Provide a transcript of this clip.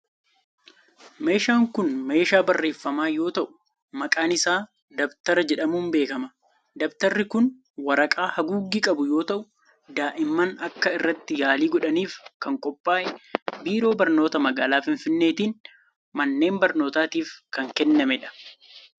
Meeshaan kun meeshaa barreefamaa yoo ta'u, maqaan isaa dabtara jedhamuun beekama. Dabtarri kun waraqaa haguuggii qabu yoo ta'u, daa'imman akka irratti yaalii godhaniif kan qophaa'ee biiroo barnoota magaalaa Finfinneetiin manneen barnootaatiif kan kennamee dha.